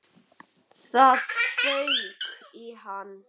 Það fauk í hann.